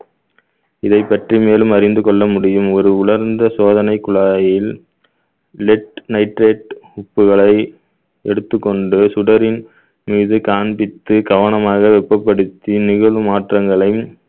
இதைப் பற்றி மேலும் அறிந்து கொள்ள முடியும் ஒரு உலர்ந்த சோதனை குழாயில் lead nitrate உப்புகளை எடுத்துக்கொண்டு சுடரின் மீது காண்பித்து கவனமாக வெப்பப்படுத்தி நிகழும் மாற்றங்களை